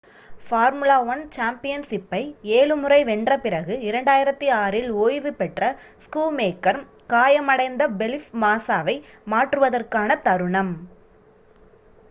formula 1 சாம்பியன்ஷிப்பை ஏழு முறை வென்ற பிறகு 2006 இல் ஓய்வு பெற்ற ஸ்கூமேக்கர் காயமடைந்த ஃபெலிப் மாஸாவை மாற்றுவதற்கான தருணம்